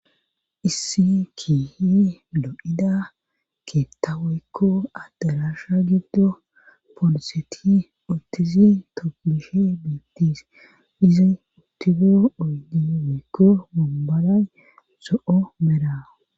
Issi kiihi loo7ida keetta woykko adde rasha giddo poloseti ottizi tomishe biittis izi uttido oydi weykko mumboray so7o mera